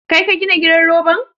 Kai ka gina gidan roban?